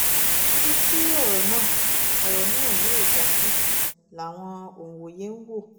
ibi tí ọ̀rọ̀ náà ọ̀rọ̀ náà yóò já sí làwọn òǹwòye ń wò